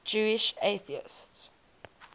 jewish atheists